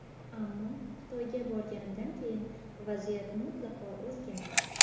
Ammo Xitoyga borganimdan keyin vaziyat mutlaqo o‘zgardi.